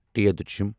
ٹھ